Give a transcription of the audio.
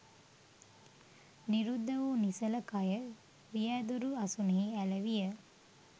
නිරුද්ධ වූ නිසල කය රියෑදුරු අසුනෙහි ඇල විය